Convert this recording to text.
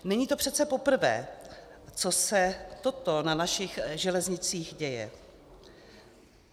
Není to přece poprvé, co se toto na našich železnicích děje.